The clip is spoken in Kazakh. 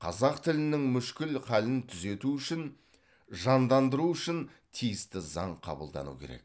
қазақ тілінің мүшкіл халін түзету үшін жандандыру үшін тиісті заң қабылдану керек